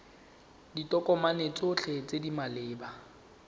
ditokomane tsotlhe tse di maleba